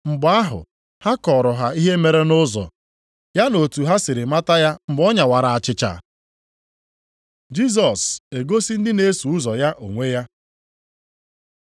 Mgbe ahụ, ha kọọrọ ha ihe mere nʼụzọ, ya na otu ha siri mata ya mgbe ọ nyawara achịcha. Jisọs egosi ndị na-eso ụzọ ya onwe ya